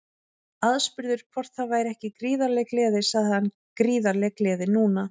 Aðspurður hvort það væri ekki gríðarleg gleði sagði hann Gríðarleg gleði núna.